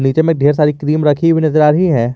नीचे में ढेर सारी क्रीम रखी हुई नजर आ रही है।